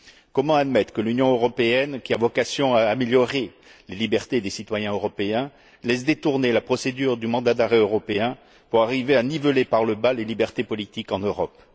Comment admettre que l'Union européenne, qui a vocation à améliorer les libertés des citoyens européens, laisse détourner la procédure du mandat d'arrêt européen pour arriver à niveler par le bas les libertés politiques en Europe?